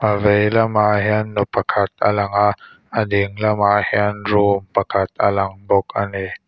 a vei lamah hian nu pakhat a lang a a ding lamah hian room pakhat a lang bawk a ni.